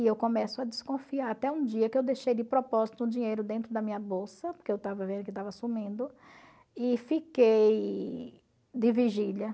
E eu começo a desconfiar, até um dia que eu deixei de propósito um dinheiro dentro da minha bolsa, porque eu estava vendo que estava sumindo, e fiquei de vigília.